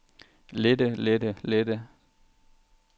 lette lette lette